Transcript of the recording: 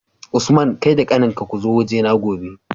Usman kai da kanin ka kuzo waje na gobe